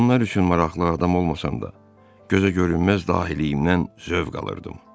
Onlar üçün maraqlı adam olmasam da, gözə görünməz dahiliy-imdən zövq alırdım.